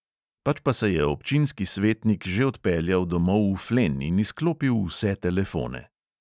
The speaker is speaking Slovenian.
Pač pa se je občinski svetnik že odpeljal domov v flen in izklopil vse telefone.